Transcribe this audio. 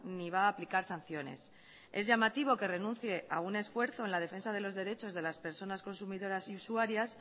ni va a aplicar sanciones es llamativo que renuncie a un esfuerzo en la defensa de los derechos de las personas consumidoras y usuarias